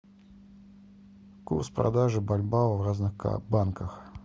курс продажи бальбоа в разных банках